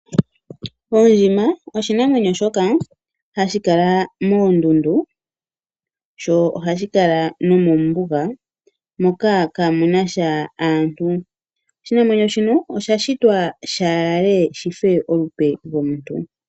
Oondjima oshinamwenyo shoka hashi kala moondundu sho ohashi kala nomoombuga moka kamunasha aantu. Oshinamwenyo shika osha shitwa shaalale shife olupe lwomuntu.